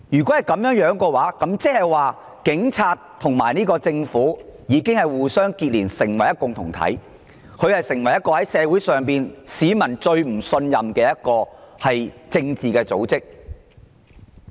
這樣一來，警隊已和特區政府互相連結成為一個共同體，以及社會上一個市民最不信任的政治組織。